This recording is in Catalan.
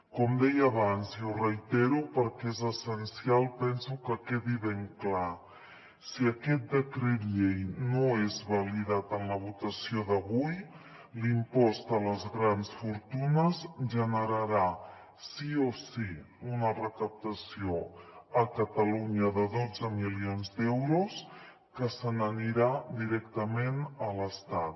com deia abans i ho reitero perquè és essencial penso que quedi ben clar si aquest decret llei no és validat en la votació d’avui l’impost a les grans fortunes generarà sí o sí una recaptació a catalunya de dotze milions d’euros que se n’anirà directament a l’estat